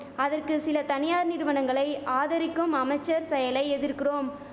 அதற்கு சில தனியார் நிறுவனங்களை ஆதரிக்கும் அமைச்சர் செயலை எதிர்குறோம்